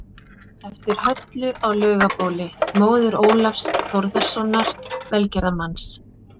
eftir Höllu á Laugabóli, móður Ólafs Þórðarsonar velgerðarmanns